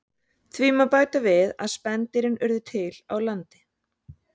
Því má bæta við að spendýrin urðu til á landi.